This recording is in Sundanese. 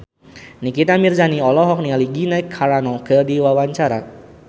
Nikita Mirzani olohok ningali Gina Carano keur diwawancara